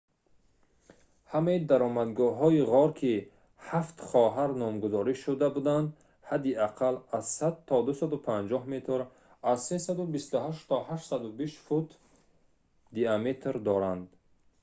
ҳамаи даромадгоҳҳои ғор ки «ҳафт хоҳар» номгузорӣ шуда буданд ҳадди аққал аз 100 то 250 метр аз 328 то 820 фут диаметр доранд